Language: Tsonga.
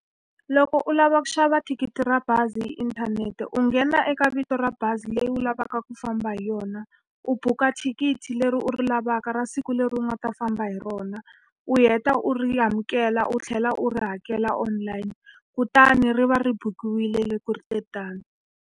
Loko u lava ku xava thikithi ra bazi hi inthanete u nghena eka vito ra bazi leyi u lavaka ku famba hi yona, u buka thikithi leri u ri lavaka ra siku leri u nga ta famba hi rona, u heta u ri amukela u tlhela u ri hakela online. Kutani ri va ri bukiwa yile le ku ri te tano.